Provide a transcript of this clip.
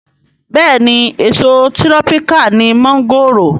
Bẹ́ẹ̀ni èso tírọ́píkà ni mọ́ńgòrò